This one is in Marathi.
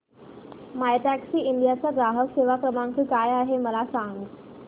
मायटॅक्सीइंडिया चा ग्राहक सेवा क्रमांक काय आहे मला सांग